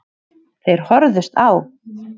Þeir horfðust á.